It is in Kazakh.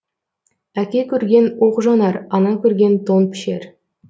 әке көрген оқ жонар ана көрген тон пішер